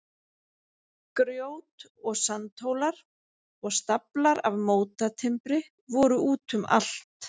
Grjót- og sandhólar og staflar af mótatimbri voru út um allt.